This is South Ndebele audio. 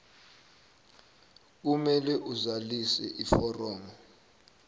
kumele azalise iforomo